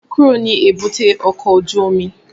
Kúrò ní èbúté ọkọ̀ ojú omi!